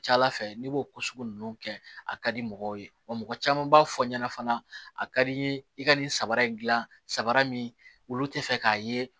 Ca ala fɛ n'i b'o ko sugu ninnu kɛ a ka di mɔgɔw ye wa mɔgɔ caman b'a fɔ ɲɛna fana a ka di n ye i ka nin samara in gilan samara min olu tɛ fɛ k'a ye